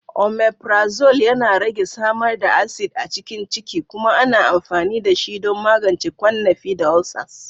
Omeprazole yana rage samar da acid a cikin ciki kuma ana amfani dashi don magance ƙwannafi da ulcers.